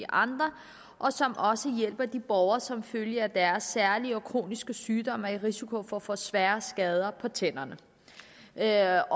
andre og som også hjælper de borgere der som følge af deres særlige kroniske sygdomme er i risiko for at få svære skader på tænderne vi er